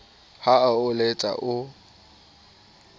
ha a o letsa o